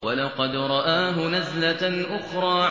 وَلَقَدْ رَآهُ نَزْلَةً أُخْرَىٰ